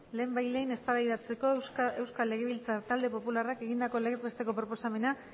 lehenbailehen eztabaidatzeko euskal legebiltzar talde popularrak egindako legez besteko proposamena